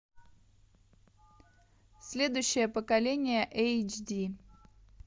следующее поколение эйч ди